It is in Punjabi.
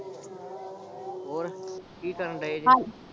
ਹੋਰ ਕੀ ਕਰਨ ਡਏ ਜੇ